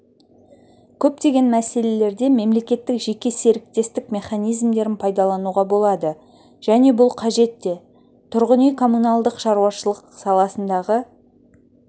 көптеген мәселелерде мемлекеттік-жеке серіктестік механизмдерін пайдалануға болады және бұл қажет те тұрғын үй коммуналдық шаруашылық саласындағы